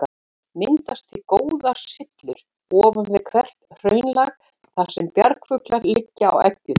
Myndast því góðar syllur ofan við hvert hraunlag, þar sem bjargfuglar liggja á eggjum.